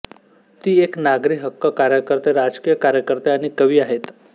ती एक नागरी हक्क कार्यकर्ते राजकीय कार्यकर्ते आणि कवी आहेत